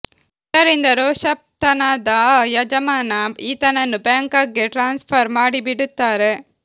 ಇದರಿಂದ ರೋಷತಪ್ತನಾದ ಆ ಯಜಮಾನ ಈತನನ್ನು ಬ್ಯಾಂಕಾಕ್ ಗೆ ಟ್ರಾನ್ಸ್ ಫರ್ ಮಾಡಿಬಿಡುತ್ತಾರೆ